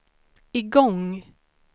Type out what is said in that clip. igång